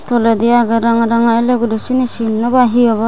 toledi agey ranga ranga el el guri siyeni sin no pai hee obow.